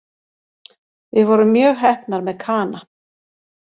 Við vorum mjög heppnar með Kana